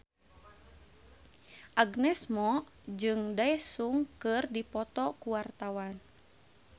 Agnes Mo jeung Daesung keur dipoto ku wartawan